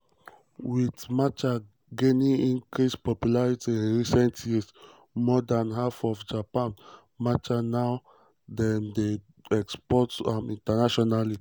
wit um matcha gaining increased popularity in recent years more dan half of japan matcha now dem dey export am internationally.